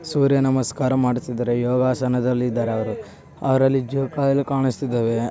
ಸೂರ್ಯ ನಮಸ್ಕಾರ ಮಾಡುತ್ತಿದ್ದಾರೆ ಯೋಗಾಸನದಲ್ಲಿ ಇದ್ದಾರೆ ಅವರು. ಅವರಲ್ಲಿ ಜೋಕಾಲು ಕಾಣಿಸ್ತಿದ್ದಾವೆ.